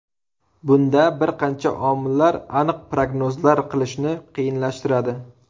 Bunda bir qancha omillar aniq prognozlar qilishni qiyinlashtiradi.